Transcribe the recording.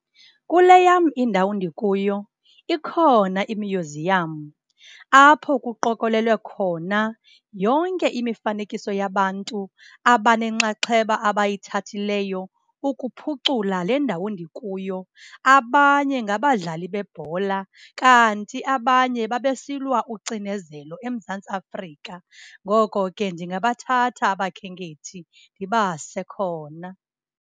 Kule yam indawo ndikuyo ikhona imyuziyam apho kuqokolelwe khona yonke imifanekiso yabantu abanenxaxheba abayithathileyo ukuphucula le ndawo ndikuyo. Abanye ngabadlali bebhola kanti abanye babesilwa ucinezelo eMzantsi Afrika, ngoko ke ndingabathatha abakhenkethi ndibase khona.